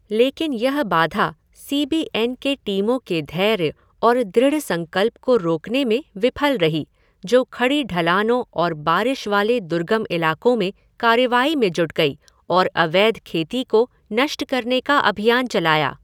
लेकिन यह बाधा सी बी एन के टीमों के धैर्य और दृढ़ संकल्प को रोकने में विफल रही, जो खड़ी ढलानों और बारिश वाले दुर्गम इलाकों में कार्रवाई में जुट गई और अवैध खेती को नष्ट करने का अभियान चलाया।